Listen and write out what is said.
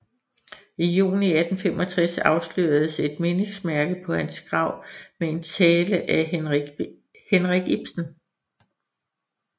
I Juni 1865 afsløredes et Mindesmærke paa hans Grav med en Tale af Henrik Ibsen